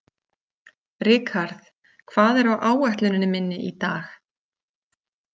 Rikharð, hvað er á áætluninni minni í dag?